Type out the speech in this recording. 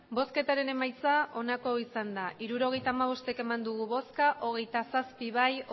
emandako botoak hirurogeita hamabost bai hogeita zazpi ez